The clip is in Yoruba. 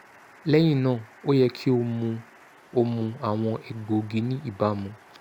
lẹhinna o yẹ ki o mu o mu awọn egboogi ni ibamu